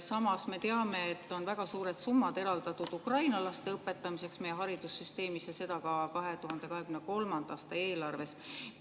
Samas me teame, et on väga suured summad eraldatud Ukraina laste õpetamiseks meie haridussüsteemis, ja seda ka 2023. aasta eelarves.